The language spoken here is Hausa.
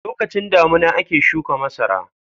Lokacin damina ake shuka masara.